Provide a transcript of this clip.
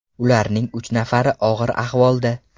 Ularning uch nafari og‘ir ahvolda.